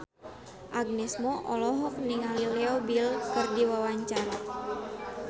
Agnes Mo olohok ningali Leo Bill keur diwawancara